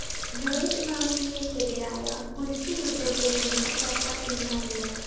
blade മാഫിയയ്‌ക്കെതിരായ കുരിശു യുദ്ധത്തില്‍ നിന്ന് സര്‍ക്കാര്‍ പിന്മാറില്ല